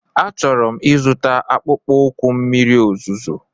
Achọrọ m ịzụta akpụkpọ ụkwụ mmiri ozuzo.